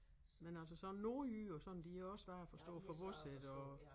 Men altså sådan nordjyder og sådan de jo også svære at forstå for vores ik og